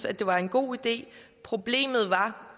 at det var en god idé problemet var